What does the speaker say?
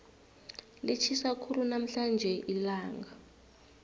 litjhisa khulu namhlanje ilanga